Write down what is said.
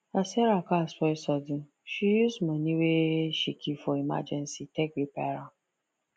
as sarah car spoil sudden she use money wey she keep for emergency take repair am